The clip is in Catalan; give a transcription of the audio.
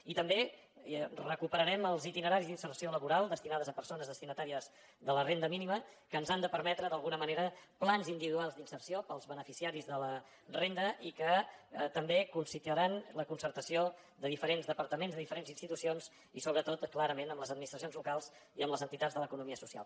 i també recuperarem els itineraris d’inserció laboral destinats a persones destinatàries de la renda mínima que ens han de permetre d’alguna manera plans individuals d’inserció per als beneficiaris de la renda i que també constituiran la concertació de diferents departaments de diferents institucions i sobretot clarament amb les administracions locals i amb les entitats de l’economia social